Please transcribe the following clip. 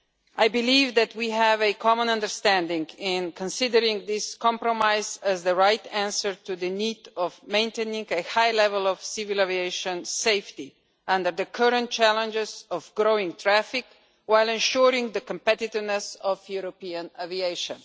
I believe that we have a common understanding in considering this compromise as the right answer to the need to maintain a high level of civil aviation safety under the current challenges of growing traffic, while ensuring the competitiveness of European aviation.